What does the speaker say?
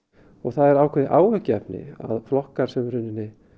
það er ákveðið áhyggjuefni að flokkar sem í rauninni